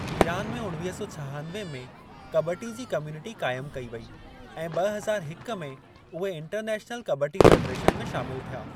Iran में उणवीह सौ छहानवे में कॿटी जी कम्युनिटी क़ाइमु कई वेई ऐं ॿ हज़ार हिक में उहे इंटरनैशनल कॿटी फ़ेडरेशन में शामिलु थिया।